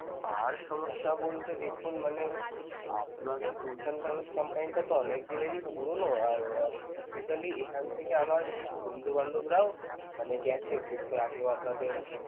আর সমস্যা বলতে দেখুন মানে আপনাদের tours and service company টা অনেকদিনের ই পুরানো আর~ basically এখান থেকে আমার কিছু বন্ধুবান্ধবরাও মানে গেছে ঘুরতে আগেও আপনাদের